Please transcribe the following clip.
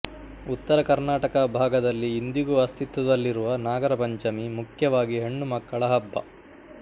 ಉತ್ತರ ಕರ್ನಾಟಕ ಭಾಗದಲ್ಲಿ ಇಂದಿಗೂ ಅಸ್ಥಿತ್ವದಲ್ಲಿರುವ ನಾಗರಪಂಚಮಿ ಮುಖ್ಯವಾಗಿ ಹೆಣ್ಣು ಮಕ್ಕಳ ಹಬ್ಬ